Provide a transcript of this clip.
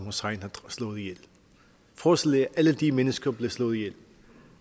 slået ihjel forestil jer alle de mennesker blive slået ihjel